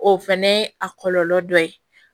O fɛnɛ ye a kɔlɔlɔ dɔ ye